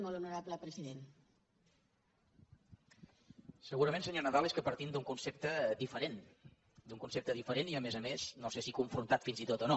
segurament senyor nadal és que partim d’un concepte diferent d’un concepte diferent i a més a més no sé si confrontat fins i tot o no